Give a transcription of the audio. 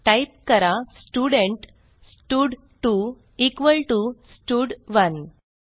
type करा student स्टड2 equal T O स्टड1